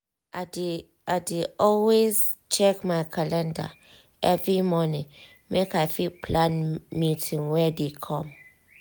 i dey dey always check my calendar every morning make i fit plan meeting wey dey come.